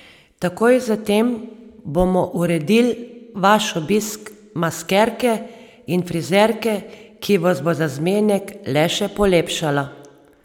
Takoj zatem bomo uredil vaš obisk maskerke in frizerke, ki vas bo za zmenek le še polepšala.